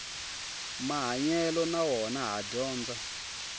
mahanyelo na wona ha dyondza